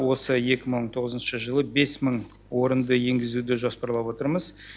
осы екі мың он тоғызыншы жылы бес мың орынды енгізуді жоспарлап отырмыз